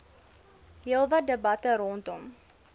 heelwat debatte rondom